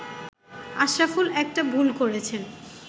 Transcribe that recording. “আশরাফুল একটা ভুল করেছেন